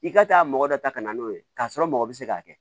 I ka taa mɔgɔ dɔ ta ka na n'o ye k'a sɔrɔ mɔgɔ bɛ se k'a kɛ